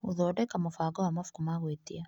Gũthondeka mũbango wa mabuku ma gwĩtia.